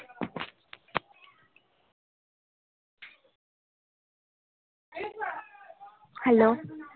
hello